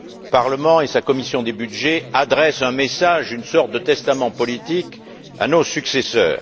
Parlement et sa commission des budgets adressent un message, une sorte de testament politique, à nos successeurs.